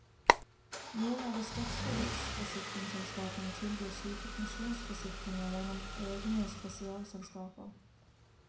Noen av de største livsforsikringsselskapene tilbyr slike pensjonsforsikringer gjennom egne spesialselskaper.